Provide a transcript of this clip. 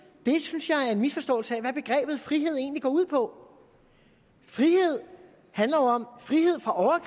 synes jeg en misforståelse af hvad begrebet frihed egentlig går ud på frihed handler jo om frihed fra